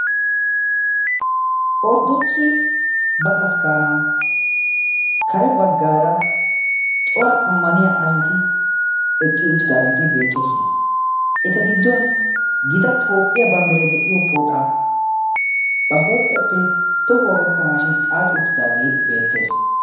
Orddokise batakaskkana kare baggaara cora ammaniya asati eqqi uttidaageeti beettoosona. Eta gidduwan gita Toophphiya banddiray de'iyo pooxaa ba huuphiyappe tohuwa gakkanaashin xaaxi uttidaage beettees.